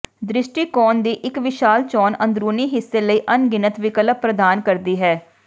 ਦ੍ਰਿਸ਼ਟੀਕੋਣ ਦੀ ਇੱਕ ਵਿਸ਼ਾਲ ਚੋਣ ਅੰਦਰੂਨੀ ਹਿੱਸੇ ਲਈ ਅਣਗਿਣਤ ਵਿਕਲਪ ਪ੍ਰਦਾਨ ਕਰਦੀ ਹੈ